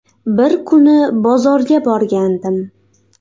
Bir kuni bozorga borgandim.